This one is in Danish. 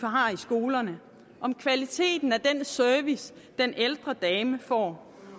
har i skolerne om kvaliteten af den service den ældre dame får